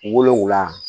Wolonfila